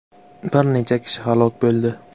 Bir necha kishi halok bo‘ldi .